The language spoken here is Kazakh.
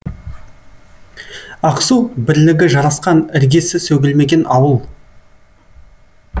ақсу бірлігі жарасқан іргесі сөгілмеген ауыл